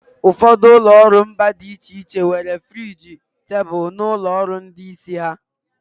Ụfọdụ ụlọ ọrụ mba dị iche iche nwere friji tebụl n'ụlọ ọrụ ndị isi ha.